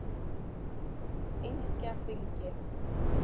Engjaþingi